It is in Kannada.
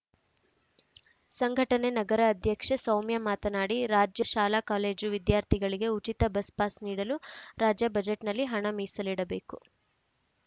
ಸಂಘಟನೆ ನಗರ ಅಧ್ಯಕ್ಷೆ ಸೌಮ್ಯ ಮಾತನಾಡಿ ರಾಜ್ಯದ ಶಾಲಾಕಾಲೇಜು ವಿದ್ಯಾರ್ಥಿಗಳಿಗೆ ಉಚಿತ ಬಸ್‌ ಪಾಸ್‌ ನೀಡಲು ರಾಜ್ಯ ಬಜೆಟ್‌ನಲ್ಲಿ ಹಣ ಮೀಸಲಿಡಬೇಕು